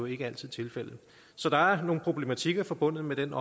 ikke altid tilfældet så der er nogle problematikker forbundet med den